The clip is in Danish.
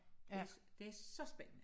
Det det er så spændende